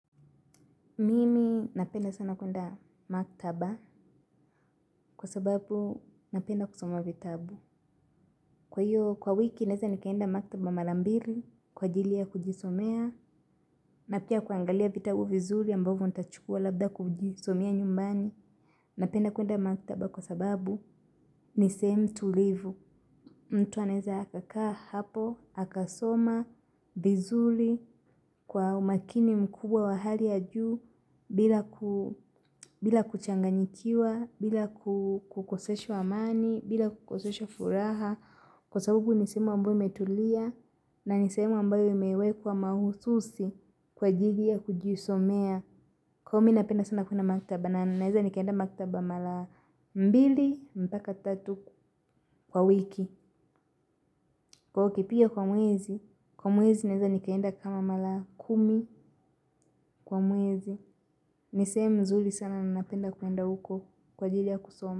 Mimi napenda sana kwenda maktaba kwa sababu napenda kusoma vitabu. Kwa hiyo kwa wiki naweza nikaenda maktaba mara mbili kwa ajili ya kujisomea na pia kuangalia vitabu vizuri ambavyo nitachukua labda kujisomea nyumbani. Napenda kuenda maktaba kwa sababu ni sehemu tulivu. Mtu anaweza kukaa hapo, akasoma, vizuri, kwa umakini mkubwa wa hali ya juu, bila kuchanganyikiwa, bila kukoseshwa amani, bila kukoseshwa furaha. Kwa sababu nisehemu ambayo imetulia na nisehemu ambayo imewekwa mahususi kwa ajili ya kujisomea. Kwahiyo mimi napenda sana kwenda maktaba na ninaweza nikaenda maktaba mara mbili, mpaka tatu kwa wiki. Kwahiyo ukipiga kwa mwezi, kwa mwezi naweza nikaenda kama mara kumi kwa mwezi. Ni sehemu nzuri sana na napenda kwenda huko kwa ajili ya kusoma.